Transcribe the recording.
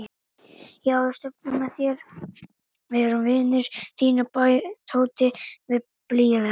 Já, við stöndum með þér, við erum vinir þínir bætti Tóti við blíðlega.